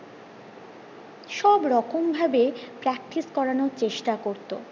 সব রকম ভাবে practice করানোর চেষ্টা করতো